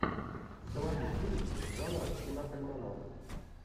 заводи фильм жанра киноальманах